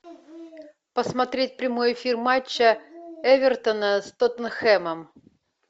посмотреть прямой эфир матча эвертона с тоттенхэмом